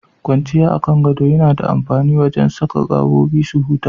Kwanciya a kan gado yana da amfani wajen saka gabobi su huta.